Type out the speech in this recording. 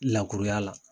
Lakuruya la